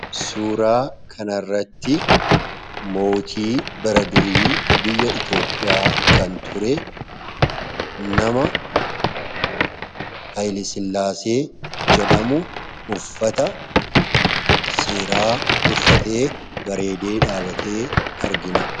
Suuraa kana irratti mootii bara durii biyya itoophiyaa kan ture nama hayla sillaasee jedhamu uffata seeraa uffatee bareedee dhaabate argina.